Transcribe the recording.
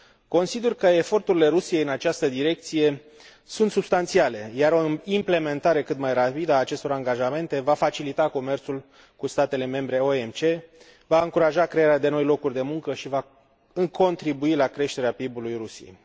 Consider că eforturile Rusiei în această direcție sunt substanțiale, iar o implementare cât mai rapidă a acestor angajamente va facilita comerțul cu statele membre OMC, va încuraja crearea de noi locuri de muncă și va contribui la creșterea PIB ului Rusiei.